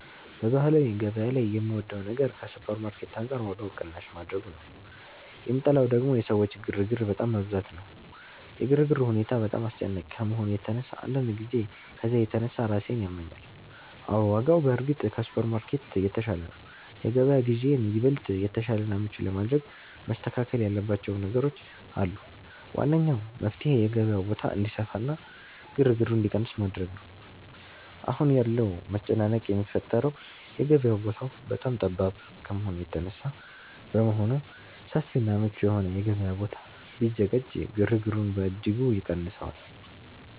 በባህላዊ ገበያ ላይ የምወደው ነገር ከሱፐርማርኬት አንጻር ዋጋው ቅናሽ ማድረጉ ነው፤ የምጠላው ደግሞ የሰዎች ግርግር በጣም መብዛቱ ነው። የግርግሩ ሁኔታ በጣም አስጨናቂ ከመሆኑ የተነሳ አንዳንድ ጊዜ ከዝያ የተነሳ ራሴን ያመኛል። አዎ፣ ዋጋው በእርግጥ ከሱፐርማርኬት የተሻለ ነው። የገበያ ግዢዬን ይበልጥ የተሻለና ምቹ ለማድረግ መስተካከል ያለባቸው ነገሮች አሉ። ዋነኛው መፍትሔ የገበያው ቦታ እንዲሰፋና ግርግሩ እንዲቀንስ ማድረግ ነው። አሁን ያለው መጨናነቅ የሚፈጠረው የገበያው ቦታ በጣም ጠባብ ከመሆኑ የተነሳ በመሆኑ፣ ሰፊና ምቹ የሆነ የገበያ ቦታ ቢዘጋጅ ግርግሩን በእጅጉ ይቀንሰዋል